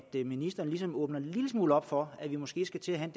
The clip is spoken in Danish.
ministeren ligesom åbner en lille smule op for at vi måske skal til at have